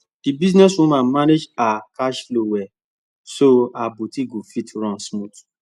the business woman manage her cash flow well so her boutique go fit run smooth